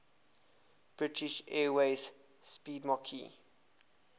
british airways 'speedmarque